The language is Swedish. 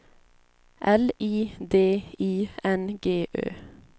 L I D I N G Ö